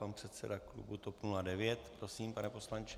Pan předseda klubu TOP 09. Prosím, pane poslanče.